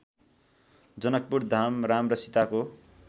जनकपुरधाम राम र सीताको